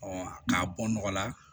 k'a bɔ nɔgɔla